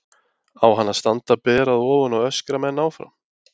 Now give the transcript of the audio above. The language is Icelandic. Á hann að standa ber að ofan og öskra menn áfram?